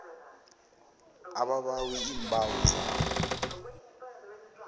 ababawi iimbawo zabo